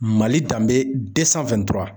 Mali danbe